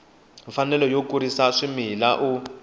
mfanelo yo kurisa swimila u